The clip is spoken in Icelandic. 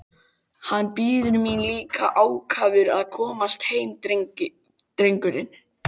Hann bíður mín líka ákafur að komast heim drengurinn!